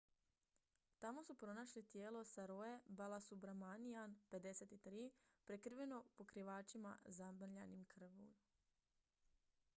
tamo su pronašli tijelo saroje balasubramanian 53 prekriveno pokrivačima zamrljanima krvlju